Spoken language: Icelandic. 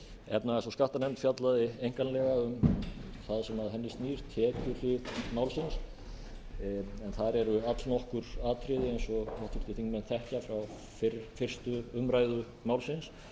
efnahags og skattanefnd fjallaði einkanlega um það sem að henni snýr tekjuhlið málsins en þar eru allnokkur atriði eins og háttvirtir þingmenn þekkja frá fyrstu umræðu málsins